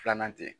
Filanan tɛ